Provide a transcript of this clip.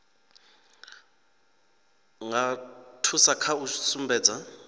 nga thusa kha u sumbedza